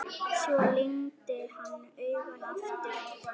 Svo lygndi hann augunum aftur.